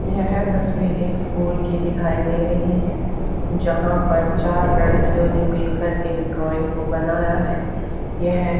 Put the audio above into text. यह तस्वीर एक स्कूल की दिखाई दे रही है जहां पर चार लड़कियों ने मिलकर एक ड्राइंग को बनाया है यह--